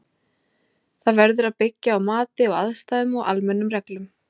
Það verður að byggja á mati á aðstæðum og almennum reglum.